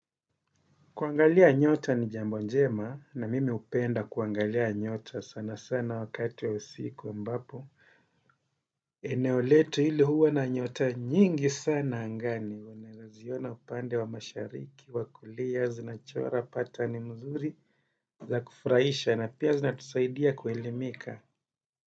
Kuangalia nyota ni jambo njema na mimi hupenda kuangalia nyota sana sana wakati wa usiku mbapo. Eneo letu hili huwa na nyota nyingi sana angani unawezaziona upande wa mashariki wakulia zinachora patani mzuri za kufurahisha na pia zinatusaidia kuelimika.